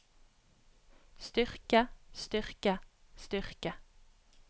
styrke styrke styrke